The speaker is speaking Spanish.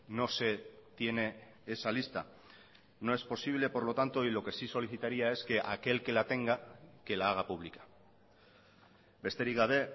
no se tiene esa lista no es posible por lo tanto y lo que sí solicitaría es que aquel que la tenga que la haga pública besterik gabe